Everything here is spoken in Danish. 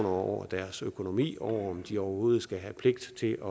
over deres økonomi og over om de overhovedet skal have pligt til